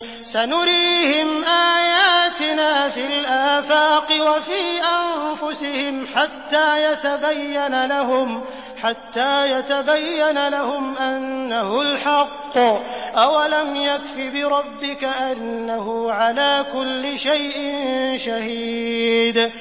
سَنُرِيهِمْ آيَاتِنَا فِي الْآفَاقِ وَفِي أَنفُسِهِمْ حَتَّىٰ يَتَبَيَّنَ لَهُمْ أَنَّهُ الْحَقُّ ۗ أَوَلَمْ يَكْفِ بِرَبِّكَ أَنَّهُ عَلَىٰ كُلِّ شَيْءٍ شَهِيدٌ